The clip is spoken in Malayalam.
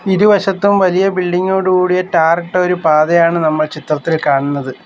ഇരുവശത്തും വലിയ ബിൽഡിംഗോഡ് കൂടിയ ടാറിട്ട ഒരു പാതയാണ് നമ്മൾ ചിത്രത്തിൽ കാണുന്നത്.